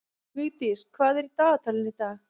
Vigdís, hvað er í dagatalinu í dag?